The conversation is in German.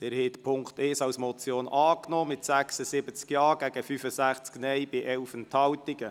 Sie haben Punkt 1 als Motion angenommen mit 76 Ja- zu 65 Nein-Stimmen bei 11 Enthaltungen.